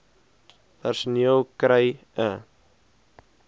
personeel kry e